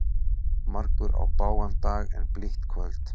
Margur á bágan dag en blítt kvöld.